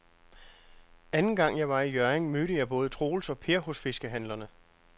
Anden gang jeg var i Hjørring, mødte jeg både Troels og Per hos fiskehandlerne.